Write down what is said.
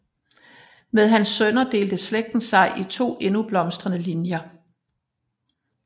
Med hans sønner delte slægten sig i to endnu blomstrende linjer